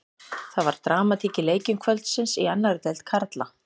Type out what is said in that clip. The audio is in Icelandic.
Það var dramatík í leikjum kvöldsins í annarri deild karla.